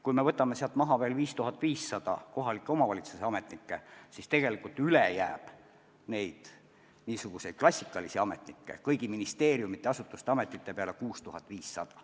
Kui me võtame sealt maha veel 5500 kohalike omavalitsuste ametnikku, siis tegelikult üle jääb neid niisuguseid klassikalisi ametnikke kõigi ministeeriumide ja ametite peale 6500.